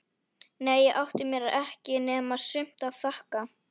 Nei ég átti mér ekki nema sumt að þakka.